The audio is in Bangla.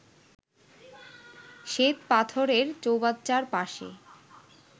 শ্বেতপাথরের চৌবাচ্চার পাশে